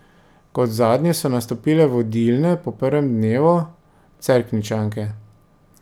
Kot zadnje so nastopile vodilne po prvem dnevu, Cerkničanke.